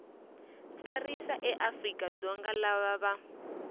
tsarisa eafrika dzonga lava va